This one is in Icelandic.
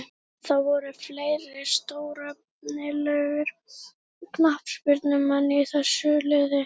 Það voru fleiri stórefnilegir knattspyrnumenn í þessu liði.